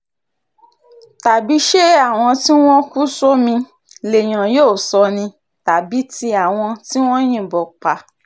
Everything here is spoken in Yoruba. tàbí ṣé àwọn tí wọ́n kú sómi lèèyàn yóò sọ ni tàbí tí àwọn tí wọ́n yìnbọn pa